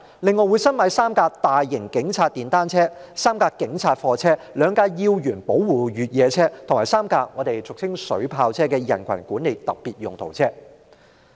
另外，警方申請新置3輛大型警察電單車、3輛警察貨車、2輛要員保護越野車，以及3輛俗稱水炮車的人群管理特別用途車。